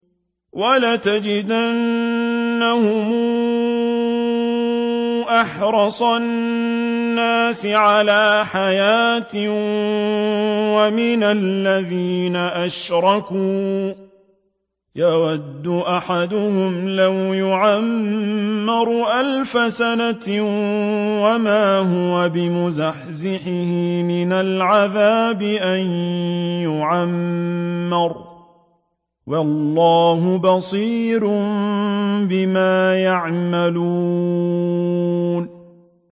وَلَتَجِدَنَّهُمْ أَحْرَصَ النَّاسِ عَلَىٰ حَيَاةٍ وَمِنَ الَّذِينَ أَشْرَكُوا ۚ يَوَدُّ أَحَدُهُمْ لَوْ يُعَمَّرُ أَلْفَ سَنَةٍ وَمَا هُوَ بِمُزَحْزِحِهِ مِنَ الْعَذَابِ أَن يُعَمَّرَ ۗ وَاللَّهُ بَصِيرٌ بِمَا يَعْمَلُونَ